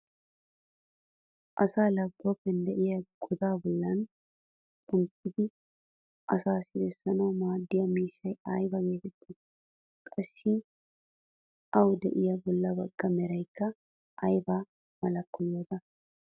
Asaa laapitooppiyan de'iyaagaa godaa bolli xomppidi aassi bessanawu maaddiya miishshay ayba geettettii? Qassi awu de'iya bolla bagga meraykka ay malakko yoota?